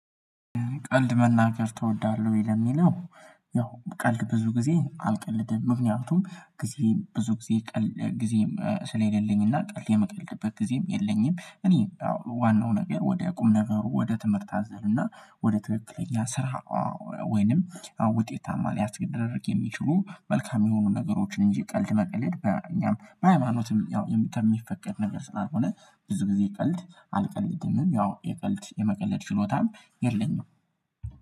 ቀልድ መናገር ተወዳለሁ ወይ? ለሚለው ያው ቀልድ ብዙ ጊዜ አልቀልድም ምክንያቱም ጊዜ ብዙ ጊዜ ቀል ጊዜም ስለሌለኝ እና ቀልድ የምቀልድበት ጊዜም የለኝም። እኔ ዋናው ነገር ወደ ቁም ነገር ወደ ትምህርት አዘርና ወደ ትክክለኛ ስራ። ወይንም ውጤታማ ሊያስገደርግ የሚችሉ መልካም የሆኑ ነገሮችን እንጂ ቀልድ መቀለድ በእኛም በሃይማኖትም ያው የሚፈቀድ ነገር ስላልሆነ። ብዙ ጊዜ ቀልድ አልቀልድምም ያው የቀልድ የመቀለድ ችሎታም የለኝም።